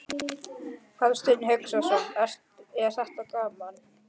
Hafsteinn Hauksson: Er þetta gaman?